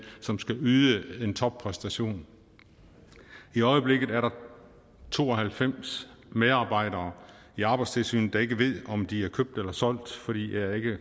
som skal yde en toppræstation i øjeblikket er der to og halvfems medarbejdere i arbejdstilsynet der ikke ved om de er købt eller solgt fordi der ikke